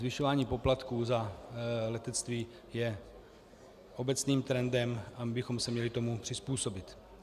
Zvyšování poplatků za letectví je obecným trendem a my bychom se tomu měli přizpůsobit.